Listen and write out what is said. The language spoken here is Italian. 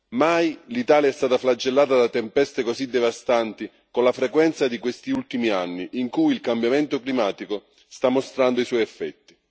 Mai l'Italia è stata flagellata da tempeste così devastanti con la frequenza di questi ultimi anni, in cui il cambiamento climatico sta mostrando i suoi effetti.